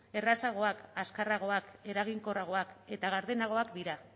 errazagoak azkarragoak eraginkorragoak eta gardenagoak dira